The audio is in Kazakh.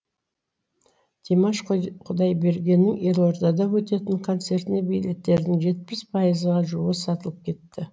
димаш құдайбергеннің елордада өтетін концертіне билеттердің жетпіс пайызға жуығы сатылып кетті